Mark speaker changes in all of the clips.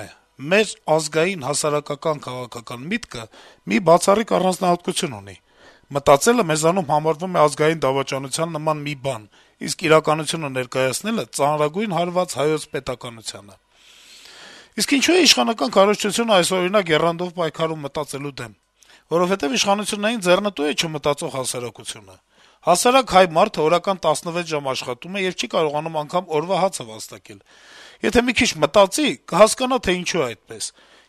Speaker 1: է. - «Մեր «ազգային հասարակական միտքը» մի բացառիկ առանձնահատկություն ունի. մտածելը մեզանում համարվում է ազգային դավաճանության նման մի բան, իսկ իրականությունը ներկայացնելը` ծանրագույն հարված հայոց պետականությանը: Իսկ ինչո՞ւ է իշխանական քարոզչությունը այսօրինակ եռանդով պայքարում մտածելու դեմ: Որովհետեւ իշխանություններին ձեռնտո՞ւ է չմտածող հասարակությունը: Հասարակ հայ մարդն օրական 16 ժամ աշխատում է եւ չի կարողանում անգամ օրվա հացը վաստակել: Եթե մի քիչ մտածի` կհասկանա, թե ինչու է այդպես,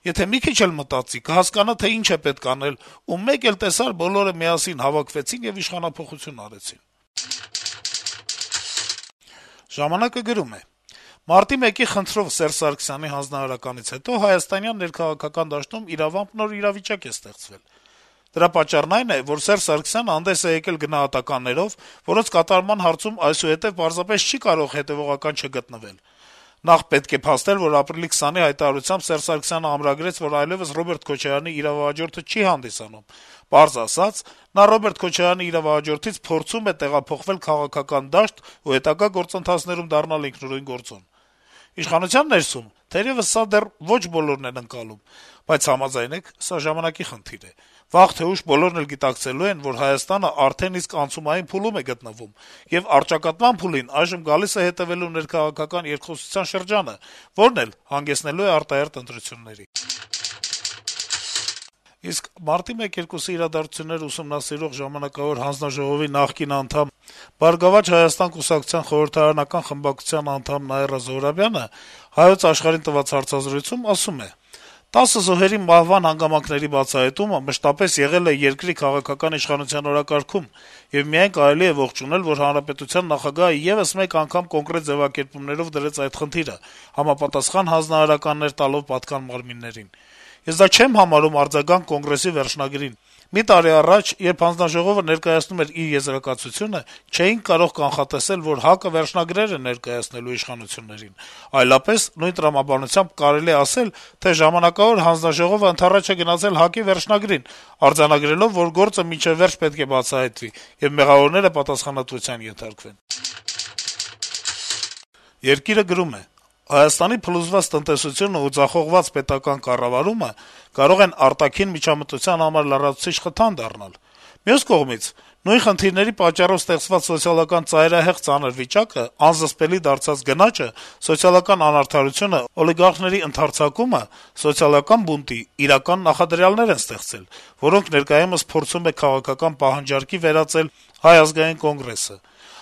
Speaker 1: եթե մի քիչ էլ մտածի` կհասկանա, թե ինչ է պետք անել, ու մեկ էլ տեսար` բոլորը միասին հավաքվեցին եւ իշխանափոխություն արեցին»: «Ժամանակ»-ը գրում է. - «Մարտի 1-ի խնդրով Սերժ Սարգսյանի հանձնարարականից հետո հայաստանյան քաղաքական դաշտում իրավամբ նոր իրավիճակ է ստեղծվել: Դրա պատճառն այն է, որ Սերժ Սարգսյանը հանդես է եկել գնահատականներով, որոնց կատարման հարցում այսուհետեւ պարզապես չի կարող հետեւողական չգտնվել: Նախ պետք է փաստել, որ ապրիլի 20-ի այդ հայտարարությամբ Սերժ Սարգսյանը ամրագրեց, որ այլեւս Ռոբերտ Քոչարյանի իրավահաջորդը չի հանդիսանում, պարզ ասած` նա Ռոբերտ Քոչարյանի «իրավահաջորդից» փորձում է տեղափոխվել քաղաքական դաշտ ու հետագա գործընթացներում դառնալ ինքնուրույն գործոն: Իշխանության ներսում, թերեւս, սա դեռ ոչ բոլորն են ընկալում, բայց համաձայնեք` սա ժամանակի խնդիր է: Վաղ թե ուշ բոլորն էլ գիտակցելու են, որ Հայաստանը արդեն իսկ անցումային փուլում է գտնվում, եւ առճակատման փուլին այժմ գալիս է հետեւելու երկխոսության շրջանը, որն էլ հանգեցնելու է արտահերթ ընտրությունների»: Մարտի 1-2-ի իրադարձություններն ուսումնասիրող ժամանակավոր հանձնաժողովի նախկին անդամ, «Բարգավաճ Հայաստան» կուսակցության խորհրդարանական խմբակցության անդամ Նաիրա Զոհրաբյանը «Հայոց Աշխարհ»-ին տված հարցազրույցում ասում է. - «10 զոհերի մահվան հանգամանքների բացահայտումը մշտապես եղել է երկրի քաղաքական իշխանության օրակարգում, եւ միայն կարելի է ողջունել, որ հանրապետության նախագահը եւս մեկ անգամ կոնկրետ ձեւակերպումներով դրեց այդ խնդիրը` համապատասխան հանձնարարական տալով պատկան մարմիններին։ Ես դա չեմ համարում արձագանք կոնգրեսի վերջնագրին. մի տարի առաջ, երբ հանձնաժողովը ներկայացնում էր իր եզրակացությունը, չէինք կարող կանխատեսել, որ ՀԱԿ-ը վերջնագիր է ներկայացնելու իշխանություններին։ Այլապես, նույն տրամաբանությամբ, կարելի էր ասել, թե ժամանակավոր հանձնաժողովն ընդառաջ է գնացել ՀԱԿ-ի վերջնագրին` արձանագրելով, որ գործը մինչեւ վերջ պետք է բացահայտվի, եւ մեղավորները պատասխանատվության ենթարկվեն»։ «Երկիր»-ը գրում է. - «Հայաստանի փլուզված տնտեսությունն ու ձախողված պետական կառավարումը կարող են արտաքին միջամտության համար լրացուցիչ խթան դառնալ: Մյուս կողմից՝ նույն խնդիրների պատճառով ստեղծված սոցիալական ծայրահեղ ծանր վիճակը, անզսպելի դարձած գնաճը, սոցալական անարդարությունը, օլիգոպոլիաների ընդարձակումը սոցիալական բունտի իրական նախադրյալներ են ստեղծել, որոնք ներկայումս փորձում է քաղաքական պահանջարկի վերածել ՀԱԿ-ը: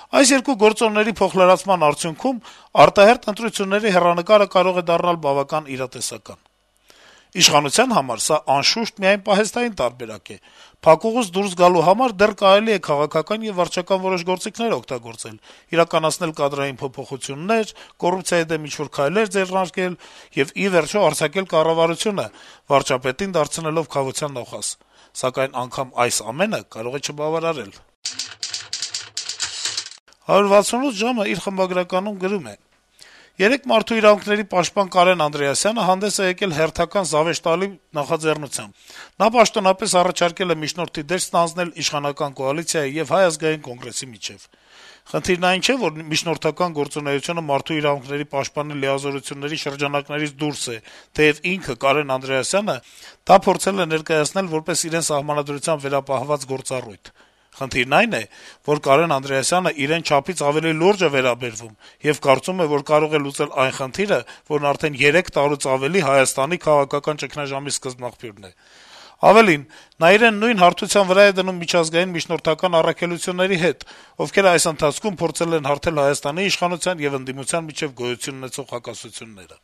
Speaker 1: Այս երկու գործոնների փոխլրացման արդյունքում՝ արտահերթ ընտրությունների հեռանկարը կարող է դառնալ բավական իրատեսական: Իշխանության համար սա, անշուշտ, միայն պահեստային տարբերակ է:Փակուղուց դուրս գալու համար դեռ կարելի է քաղաքական եւ վարչական որոշ գործիքներ օգտագործել` իրականացնել կադրային փոփոխություններ, կոռուպցիայի դեմ ինչ-որ քայլեր ձեռնարկել եւ, ի վերջո, արձակել կառավարությունը` վարչապետին դարձնելով քավության նոխազ: Սակայն անգամ այս ամենը կարող են չբավարարել»: «168 ժամ»-ը գրում է. - «Երեկ Մարդու իրավունքների պաշտպան Կարեն Անդրեասյանը հանդես է եկել հերթական զավեշտալի նախաձեռնությամբ. նա պաշտոնապես առաջարկել է միջնորդի դեր ստանձնել իշխանական կոալիցիայի եւ Հայ ազգային կոնգրեսի միջեւ: Խնդիրն այն չէ, որ միջնորդական գործունեությունը Մարդու իրավունքների պաշտպանի լիազորությունների շրջանակներից դուրս է, թեեւ ինքը` Կարեն Անդրեասյանը, դա փորձել է ներկայացնել որպես իրեն Սահմանադրությամբ վերապահված գործառույթ: Խնդիրն այն է, որ Կարեն Անդրեասյանն իրեն չափից ավելի լուրջ է վերաբերվում եւ կարծում է, որ կարող է լուծել այն խնդիրը, որն արդեն երեք տարուց ավելի Հայաստանի քաղաքական ճգնաժամի սկզբնաղբյուրն է: Ավելին` նա իրեն նույն հարթության վրա է դնում միջազգային միջնորդական առաքելությունների հետ, ովքեր այս ընթացքում փորձել են հարթել Հայաստանի իշխանության եւ ընդդիմության միջեւ գոյություն ունեցող հակասությունները»: